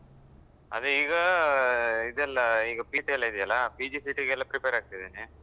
ಅದೇ ಈಗಾ ಇದೆಲ್ಲಾ ಇದೆಯಲ್ಲಾ PGCET ಗೆಲ್ಲ prepare ಆಗ್ತಾ ಇದ್ದೇನೆ.